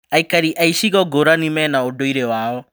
Aikari a icigo ngũrani mena ũndũire wao.